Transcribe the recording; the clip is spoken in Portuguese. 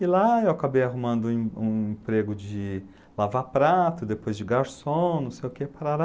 E lá eu acabei arrumando um um emprego de lavar prato, depois de garçom, não sei o quê, parará.